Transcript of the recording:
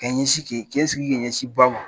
Ka ɲɛ sin kɛ sigi ka ɲɛ sin ba ma.